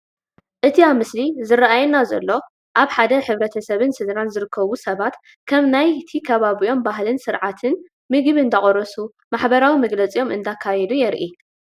እቲ ኣብቲ ምስሊ ዝራኣየና ዘሎ ኣብ ሓደ ሕብረተሰብን ስድራን ዝርከቡ ሰባት ከም ናይቲ ከባቢኦም ባህልን ስርዓትን ምግቢ አንዳቆረሱን ማሕበራዊ መግለፂኦም እንዳካየዱን የርኢ፡፡